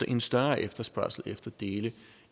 en større efterspørgsel efter dele